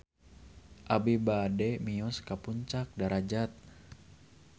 Abi bade mios ka Puncak Darajat